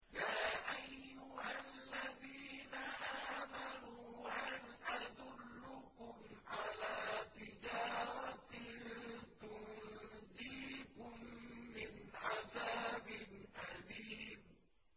يَا أَيُّهَا الَّذِينَ آمَنُوا هَلْ أَدُلُّكُمْ عَلَىٰ تِجَارَةٍ تُنجِيكُم مِّنْ عَذَابٍ أَلِيمٍ